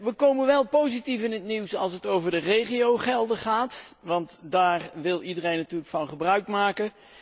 We komen wel positief in het nieuws als het over de regiogelden gaat, want daar wil iedereen natuurlijk gebruik van maken.